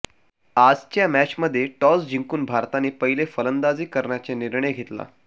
आजच्या मॅचमध्ये टॉस जिंकून भारताने पहिले फलंदाजी करण्याचा निर्णय घेतला